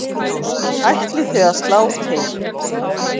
Ætlið þið að slá til?